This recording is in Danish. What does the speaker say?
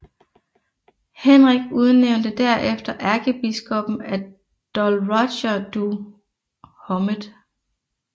Henrik udnævnte derefter ærkebiskoppen af Dol Roger du Hommet